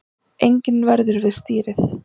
Enginn verður við stýrið